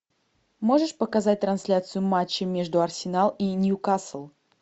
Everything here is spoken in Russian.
можешь показать трансляцию матча между арсенал и ньюкасл